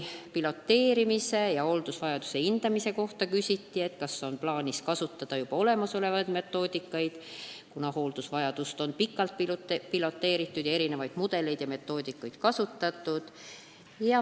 Piloteerimise ja hooldusvajaduse hindamise kohta küsiti, kas on plaanis kasutada juba olemasolevaid metoodikaid, kuna hooldusvajadust on pikalt piloteeritud ning erinevaid mudeleid ja metoodikaid kasutatud.